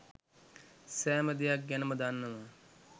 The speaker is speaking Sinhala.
සෑම දෙයක් ගැනම දන්නවා.